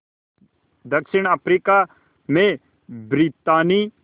दक्षिण अफ्रीका में ब्रितानी